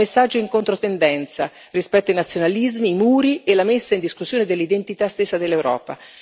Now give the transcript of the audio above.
È un messaggio in controtendenza rispetto ai nazionalismi, ai muri e alla messa in discussione dell'identità stessa dell'Europa.